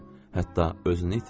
Hətta özünü itirdi.